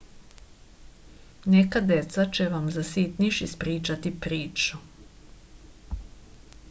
neka deca će vam za sitniš ispričati priču